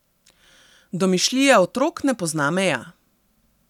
Domišljija otrok ne pozna meja.